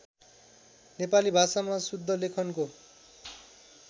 नेपाली भाषामा शुद्धलेखनको